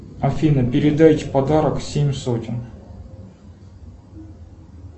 афина передайте подарок семь сотен